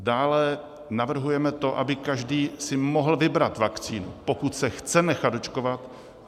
Dále navrhujeme to, aby každý si mohl vybrat vakcínu, pokud se chce nechat očkovat.